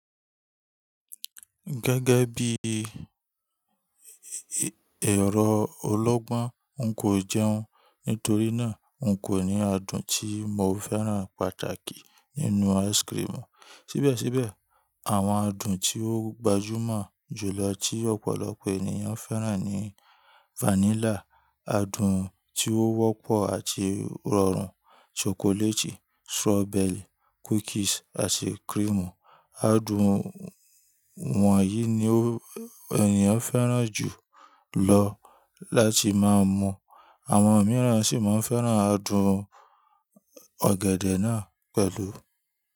Gẹ́gẹ́ bí ẹ̀rọ olọ́gbọ́n, n kò jẹun, nítorí náà n kò ní adùn tí mo fẹ́ràn pàtàkì nínú áìsikirimù. Síbẹ̀síbẹ̀, àwọn adùn tí ó gbajúmọ̀ jùlọ tí ọ̀pọ̀lọpọ̀ ènìyàn fẹ́ràn ni fánílà, adùn tí ó wọ́pọ̀ àti rọrùn, ṣokoléètì, ṣọ́bẹ̀rì, kúkìsì, àti kírìmù. Adùn wọ̀nyí ni ènìyàn fẹ́ràn jù lọ láti máa mu. Àwọn mìíràn sì máa ń fẹ́ràn adùn ọ̀gẹ̀dẹ̀ náà pẹ̀lú.